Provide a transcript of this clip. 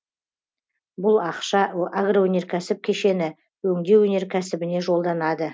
бұл ақша агроөнеркәсіп кешені өңдеу өнеркәсібіне жолданады